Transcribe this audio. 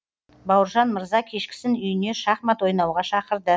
бауыржан мырза кешкісін үйіне шахмат ойнауға шақырды